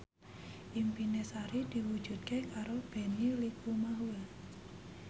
impine Sari diwujudke karo Benny Likumahua